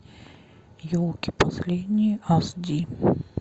елки последние аш ди